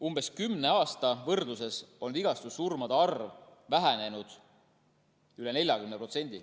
Umbes kümne aasta võrdluses on vigastussurmade arv vähenenud üle 40%.